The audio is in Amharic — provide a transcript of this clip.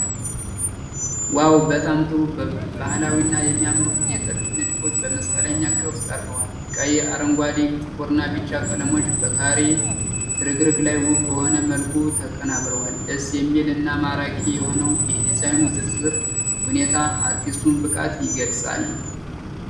ዋው! በጣም ጥሩ ባህላዊ እና የሚያምሩ የጥልፍ ንድፎች በመስቀለኛ ቅርፅ ቀርበዋል። ቀይ፣ አረንጓዴ፣ ጥቁርና ቢጫ ቀለሞች በካሬ ፍርግርግ ላይ ውብ በሆነ መልኩ ተቀናብረዋል። ደስ የሚል እና ማራኪ የሆነው የዲዛይኑ ዝርዝር ሁኔታ የአርቲስቱን ብቃት ይገልጻል።